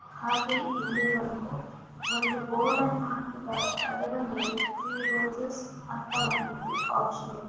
ಹಾಗೆ ಇಲ್ಲಿ ಒಂದು ಒಂದು ಬೋರ್ಡನ್ನು ಹಾಕಿದ್ದಾರೆ ಅದರ ಮೇಲೇ ತ್ರೀ ರೋಜ್ಸ್ ಅಂತ ಒಂದು ಆಪ್ಷನ್ ಇದೆ.